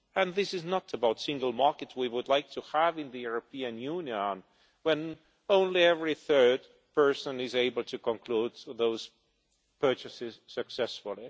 This is not the single market we would like to have in the European Union when only every third person is able to conclude those purchases successfully.